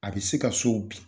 A bɛ se ka sow bin